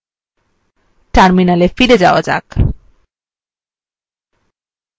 terminalএ ফিরে যাওয়া যাক